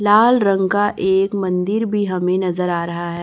लाल रंग का एक मंदिर भी हमें नजर आ रहा हैं।